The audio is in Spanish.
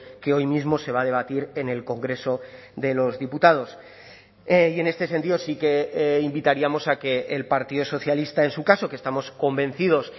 que hoy mismo se va a debatir en el congreso de los diputados y en este sentido sí que invitaríamos a que el partido socialista en su caso que estamos convencidos